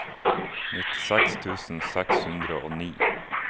nittiseks tusen seks hundre og ni